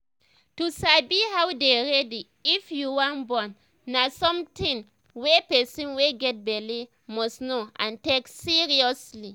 to sabi how to dey ready if you um wan born na um something wey person wey get belle must know n take seriously